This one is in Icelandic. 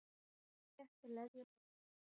Þétt leðjuna í hausnum.